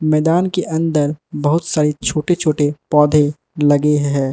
मैदान के अंदर बहुत सारे छोटे छोटे पौधे लगे हैं।